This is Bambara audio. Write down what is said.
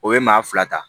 O ye maa fila ta